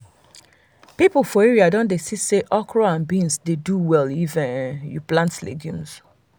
people for area don see say okra and beans dey do well if um you plant legumes